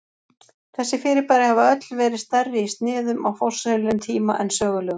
Þessi fyrirbæri hafa öll verið stærri í sniðum á forsögulegum tíma en sögulegum.